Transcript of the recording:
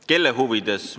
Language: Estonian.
Kelle huvides?